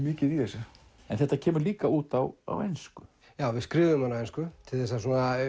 mikið í þessu þetta kemur líka út á á ensku já við skrifuðum hana á ensku til að